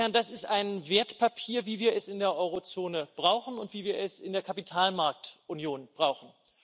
Das ist ein Wertpapier, wie wir es in der Eurozone brauchen und wie wir es in der Kapitalmarktunion brauchen.